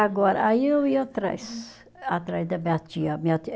Agora, aí eu ia atrás, atrás da minha tia, minha tia